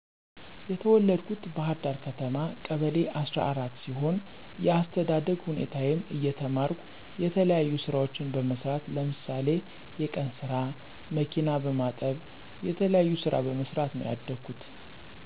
የተወለድኩት ባህርዳር ከተማ ቀበሌ አሰራ አራት ሲሆን የአስተዳደግ ሁኔታየም እየተማረኩ የተለያዩ ስራዎችን በመስራት ለምሳሌ የቀንስራ፣ መኪና በመጠብ የተለያዩ ስራ በመሰራት ነው ያደኩት።